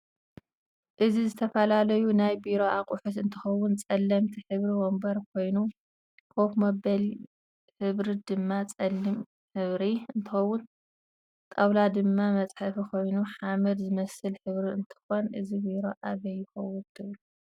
እዚ ዝተፈላለዩ ናይ ቢሮ ኣቁሑት እንትከውን ፀለምቲ ሕብሪ ወንበር ኮይኑ ከፍ መበል ሕብሩ ድማ ፀሊም ሕብሪ እንትከውን ጣውላ ድማ መፅሕፊ ኮይኑ ሓመድ ዝመስል ሕብሪ እንትኮን እዚ ቢሮ ኣበይ ይከውን ትብሉ?